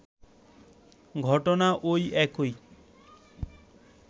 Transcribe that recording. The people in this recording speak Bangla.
ঘটনা ওই একই